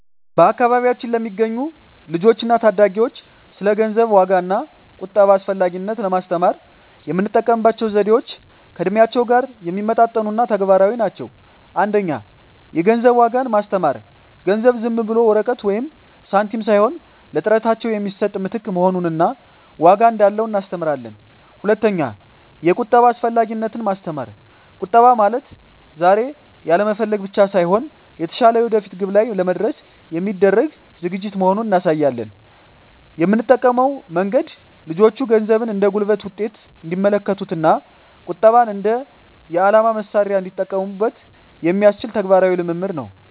በአካባቢያችን ለሚገኙ ልጆች እና ታዳጊዎች ስለ ገንዘብ ዋጋ እና ቁጠባ አስፈላጊነት ለማስተማር የምንጠቀምባቸው ዘዴዎች ከእድሜያቸው ጋር የሚመጣጠኑ እና ተግባራዊ ናቸው። 1) የገንዘብ ዋጋን ማስተማር ገንዘብ ዝም ብሎ ወረቀት ወይም ሳንቲም ሳይሆን ለጥረታቸው የሚሰጥ ምትክ መሆኑን እና ዋጋ እንዳለው እናስተምራለን። 2)የቁጠባ አስፈላጊነትን ማስተማር ቁጠባ ማለት ዛሬ ያለመፈለግ ብቻ ሳይሆን፣ የተሻለ የወደፊት ግብ ላይ ለመድረስ የሚደረግ ዝግጅት መሆኑን እናሳያለን። የምንጠቀመው መንገድ ልጆቹ ገንዘብን እንደ ጉልበት ውጤት እንዲመለከቱት እና ቁጠባን እንደ የዓላማ መሣሪያ እንዲጠቀሙበት የሚያስችል ተግባራዊ ልምምድ ነው።